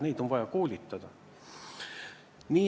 Neid on vaja koolitada.